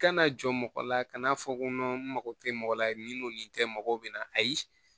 Kana jɔ mɔgɔ la ka n'a fɔ n mago tɛ mɔgɔ la ni n tɛ mɔgɔ bɛ na ayi